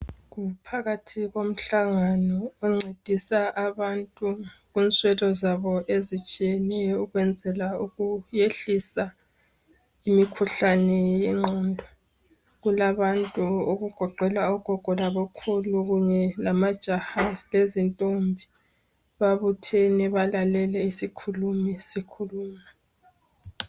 Kuphakathi komhlangano oncedisa abantu kinswelo zabo ezitshiyeneyo ukwenzela ukwehlisa imikhuhlane yengqondo kulabantu okugoqela ogogo labokhulu kunye lamajaha lezintombi babuthene balahleke isikhulimi sikhuluma